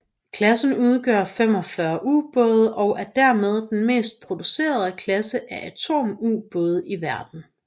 Klassen udgør 45 ubåde og er dermed den mest producerede klasse af atomubåde i verden